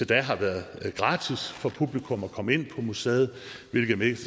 da har været gratis for publikum at komme ind på muserne hvilket mest